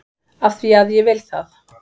AF ÞVÍ AÐ ÉG VIL ÞAÐ!